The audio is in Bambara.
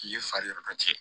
I ye fari yɛrɛ cɛ